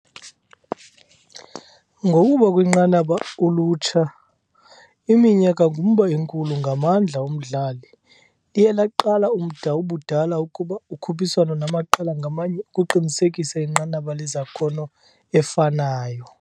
ngokuba kwinqanaba ulutsha, iminyaka ngumba enkulu ngamandla umdlali, liye laqalisa umda ubudala ukuba ukhuphiswano namaqela ngamnye ukuqinisekisa inqanaba lwezakhono efanayo.